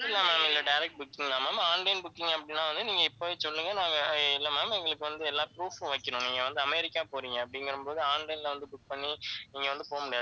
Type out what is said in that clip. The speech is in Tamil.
இல்லை ma'am இல்ல direct booking தான் ma'am, online booking அப்படின்னா வந்து நீங்க இப்பவே சொல்லுங்க நாங்க இல்லை ma'am எங்களுக்கு வந்து எல்லா proof உம் வைக்கணும் நீங்க வந்து அமெரிக்கா போறீங்க அப்படிங்கும்போது online ல வந்து book பண்ணி நீங்க வந்து போக முடியாது